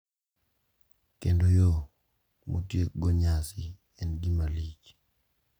Kendo yo ma otiekgo nyasi en gima lich.